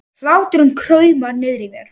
Hláturinn kraumar niðri í mér.